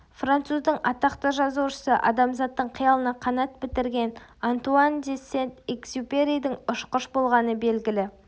француздың атақты жазушысы адамзаттың қиялына қанат бітірген антуан де сент-экзюперидің ұшқыш болғаны белгілі